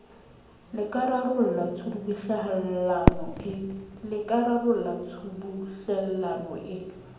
le ka rarollang tshubuhlellano e